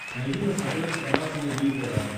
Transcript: найди на смотрешке канал синергия тв